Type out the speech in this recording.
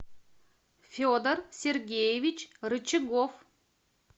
федор сергеевич рычагов